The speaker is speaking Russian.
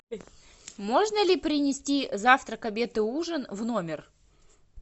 можно ли принести завтрак обед и ужин в номер